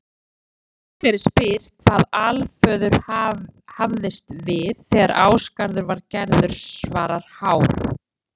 Þegar Gangleri spyr hvað Alföður hafðist við þegar Ásgarður var gerður svarar Hár: